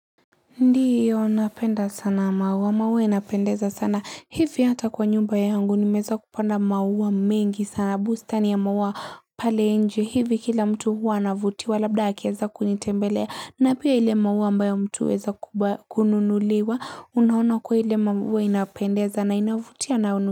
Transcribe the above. Ndiyo napenda sana maua maua yanapendeza sana hivi hata kwa nyumba yangu nimeweza kupanda maua mingi sana bustani ya maua pale nje hivi kila mtu huwa anavutiwa labda akieza kunitembelea na pia ile maua ambayo mtu huweza kununuliwa unaona kuwa ile maua inapendeza na inavutia na.